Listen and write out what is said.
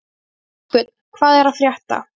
Ástbjörn, hvað er að frétta?